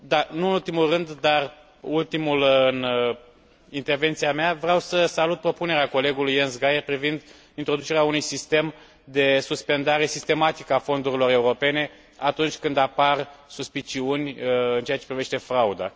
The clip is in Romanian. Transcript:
Nu în ultimul rând, dar ultimul în intervenția mea, vreau să salut propunerea colegului Jens Geier privind introducerea unui sistem de suspendare sistematică a fondurilor europene atunci când apar suspiciuni în ceea ce privește frauda.